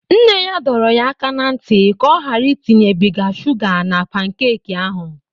Nne ya doro ya aka na ntị ka ọ gara etinyebiga sụga oke na pankeeki ahụ.